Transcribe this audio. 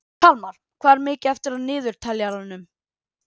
Kalmar, hvað er mikið eftir af niðurteljaranum?